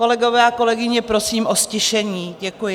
Kolegové a kolegyně, prosím o ztišení, děkuji.